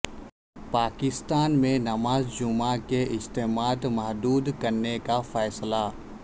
پاکستان میں نماز جمعہ کے اجتماعات محدود کرنے کا فیصلہ